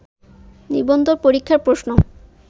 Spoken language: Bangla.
নিবন্ধন পরীক্ষার প্রশ্ন